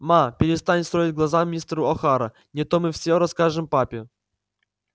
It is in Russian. ма перестань строить глаза мистеру охара не то мы всё расскажем папе